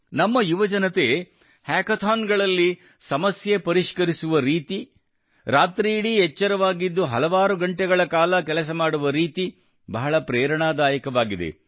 ನಮ್ಮ ಯುವಜನತೆ ಹಾಕಾಥಾನ್ ಗಳಲ್ಲಿ ಸಮಸ್ಯೆ ಪರಿಷ್ಕರಿಸುವ ರೀತಿ ರಾತ್ರಿಯಿಡೀ ಎಚ್ಚರವಾಗಿದ್ದು ಹಲವಾರು ಗಂಟೆಗಳ ಕಾಲ ಕೆಲಸಮಾಡುವ ರೀತಿ ಬಹಳ ಪ್ರೇರಣಾದಾಯಕವಾಗಿದೆ